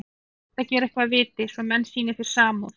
Reyndu að gera eitthvað að viti, svo menn sýni þér samúð.